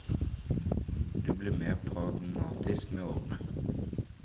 Du blir mer pragmatisk med årene.